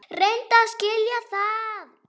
Reyndu að skilja það!